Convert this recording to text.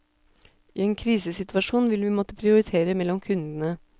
I en krisesituasjon vil vi måtte prioritere mellom kundene.